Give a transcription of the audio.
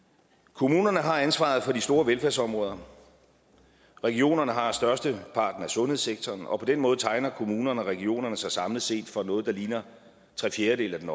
kommunerne har ansvaret for de store velfærdsområder regionerne har størsteparten af sundhedssektoren og på den måde tegner kommunerne og regionerne sig samlet set for noget der ligner tre fjerdedele af den